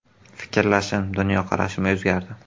Fikrlashim, dunyoqarashim o‘zgardi.